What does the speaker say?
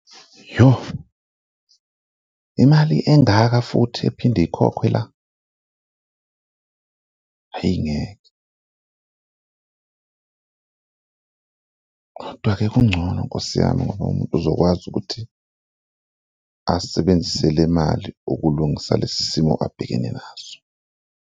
Yoh, imali engaka futhi ephinde ikhokhwe la? Ayi ngeke, kodwa-ke kungcono nkosi yami ngoba umuntu uzokwazi ukuthi asebenzise le imali ukulungisa lesi simo abhekene naso.